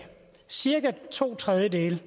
cirka to tredjedele